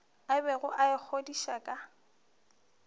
a bego a ikgodiša ka